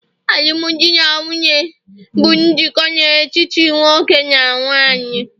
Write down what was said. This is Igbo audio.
alụmdi na nwunye bụ njikọ dị n'etiti nwoke na nwanyị